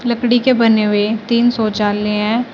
लकड़ी के बने हुए तीन शौचालय है।